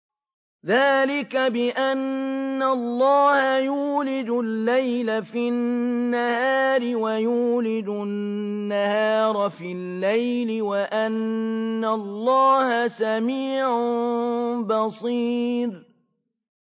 ذَٰلِكَ بِأَنَّ اللَّهَ يُولِجُ اللَّيْلَ فِي النَّهَارِ وَيُولِجُ النَّهَارَ فِي اللَّيْلِ وَأَنَّ اللَّهَ سَمِيعٌ بَصِيرٌ